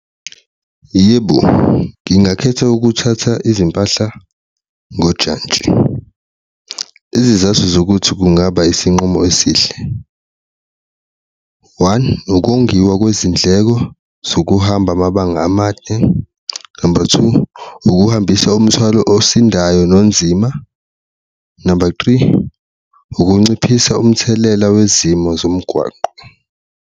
Yebo, ngingakhetha ukuthatha izimpahla ngojantshi, izizathu zokuthi kungaba isinqumo esihle, one, ukongiwa kwezindleko zokuhamba amabanga amade, number two, ukuhambisa umthwalo osindayo nonzima, number three, ukunciphisa umthelela wezimo zomgwaqo.